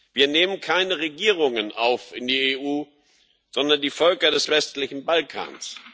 Wir nehmen keine Regierungen auf in die EU, sondern die Völker des westlichen Balkans.